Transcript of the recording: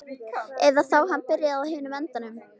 Eða þá hann byrjaði á hinum endanum.